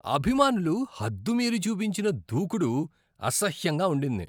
అభిమానులు హద్దుమీరి చూపించిన దూకుడు అసహ్యంగా ఉండింది.